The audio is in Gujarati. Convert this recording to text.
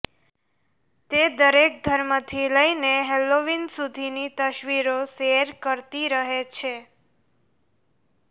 તે દરેક ધર્મથી લઈને હૈલોવીન સુધીની તસવીરો શેર કરતી રહે છે